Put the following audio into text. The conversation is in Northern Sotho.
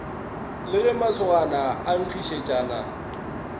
le ge masogana a nkgišetšana